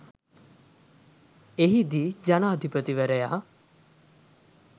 එහිදී ජනාධිපතිවරයා